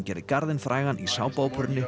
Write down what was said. gerði garðinn frægan í